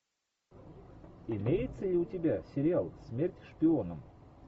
имеется ли у тебя сериал смерть шпионам